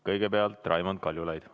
Kõigepealt Raimond Kaljulaid.